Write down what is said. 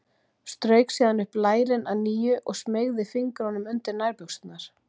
Strauk síðan upp lærin að nýju og smeygði fingrunum undir nærbuxurnar.